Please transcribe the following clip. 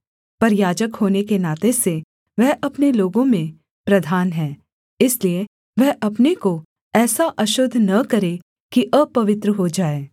पर याजक होने के नाते से वह अपने लोगों में प्रधान है इसलिए वह अपने को ऐसा अशुद्ध न करे कि अपवित्र हो जाए